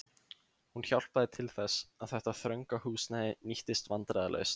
Hún hjálpaði til þess, að þetta þrönga húsnæði nýttist vandræðalaust.